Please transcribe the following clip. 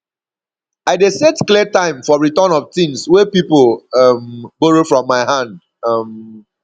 i dey set clear time for return of tins wey pipo um borrow from my hand um